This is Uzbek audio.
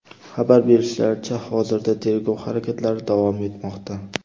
Xabar berishlaricha, hozirda tergov harakatlari davom etmoqda.